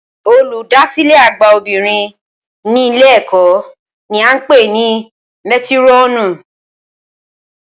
Olùdásílẹ̀ àgbà obìnrin ní ìlé ẹ̀kọ́ ni a ń pè ní métírọ̀nù